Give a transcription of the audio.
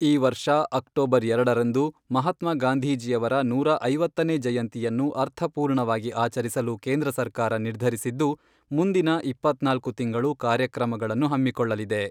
ಈ ವರ್ಷ ಅಕ್ಟೋಬರ್ ಎರಡರಂದು ಮಹಾತ್ಮ ಗಾಂಧಿಜೀಯವರ ನೂರಾ ಐವತ್ತನೇ ಜಯಂತಿಯನ್ನು ಅರ್ಥಪೂರ್ಣವಾಗಿ ಆಚರಿಸಲು ಕೇಂದ್ರ ಸರ್ಕಾರ ನಿರ್ಧರಿಸಿದ್ದು, ಮುಂದಿನ ಇಪ್ಪತ್ನಾಲ್ಕು ತಿಂಗಳು ಕಾರ್ಯಕ್ರಮಗಳನ್ನು ಹಮ್ಮಿಕೊಳ್ಳಲಿದೆ.